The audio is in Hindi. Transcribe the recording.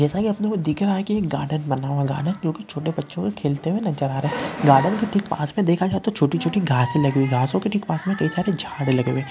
जैसा कि अपनोको दिख रहा है एक गार्डन बना हुया। गार्डन क्योकि छोटे बच्चो के खेलते हुए नजर आ रहा हे। गार्डन की ठिक पास में देखा जाए तो छोटी-छोटी घासे लगे हुइ घासो ठिक पास में कई सारे झाड़ लगे हुए।